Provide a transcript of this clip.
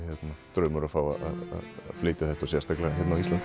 draumur að fá að flytja það sérstaklega hér á Íslandi